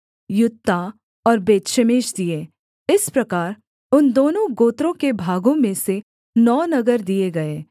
Juttah और Beth Shemesh दिए इस प्रकार उन दोनों गोत्रों के भागों में से नौ नगर दिए गए